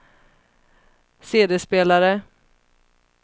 CD-spelare